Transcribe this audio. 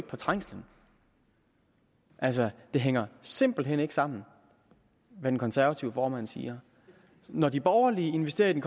på trængslen altså det hænger simpelt hen ikke sammen hvad den konservative formand siger når de borgerlige investerer i den